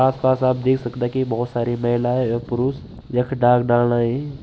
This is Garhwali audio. आस पास आप देख सकदा कि बहोत सारी महिलाएं और पुरुष यख डाक डालन आयीं।